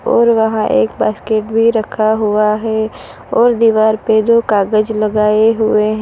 और वहाँ एक बास्केट भी रखा हुआ हैं और दीवार पे दो कागज लगाए हुए हैं।